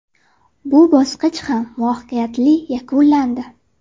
Bu bosqich ham muvaffaqiyatli yakunlandi.